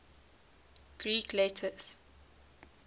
greek letters